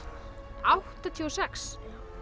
áttatíu og sex